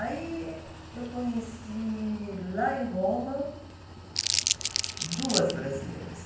Aí eu conheci, lá em Roma, duas brasileiras.